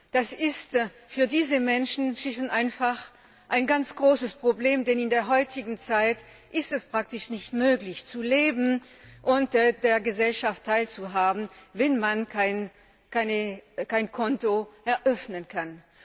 Das ist für diese Menschen inzwischen einfach ein ganz großes Problem, denn in der heutigen Zeit ist es praktisch nicht möglich, zu leben und an der Gesellschaft teilzuhaben, wenn man kein Konto eröffnen kann.